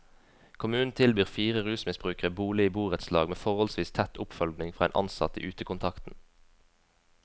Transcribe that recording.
Kommunen tilbyr fire rusmisbrukere bolig i borettslag med forholdsvis tett oppfølging fra en ansatt i utekontakten.